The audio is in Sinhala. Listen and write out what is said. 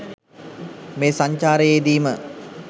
මේ සංචාරයේදීම